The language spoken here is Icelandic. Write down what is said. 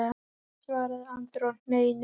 svaraði Andri og hneig niður í nýtt kast.